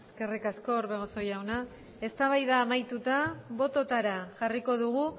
eskerrik asko orbegozo jauna eztabaida amaituta bototara jarriko dugu